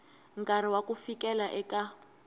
nkarhi wa ku fikela eka